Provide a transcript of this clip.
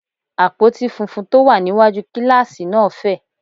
Àpótí funfun tó wà níwájú kíláàsì náà fẹ̀